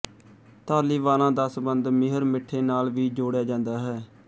ਧਾਲੀਵਾਲਾਂ ਦਾ ਸੰਬੰਧ ਮਿਹਰ ਮਿੱਠੇ ਨਾਲ ਵੀ ਜੋੜ੍ਹਿਆ ਜਾਂਦਾ ਹੈ